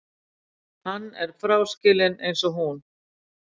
Hann fráskilinn eins og hún.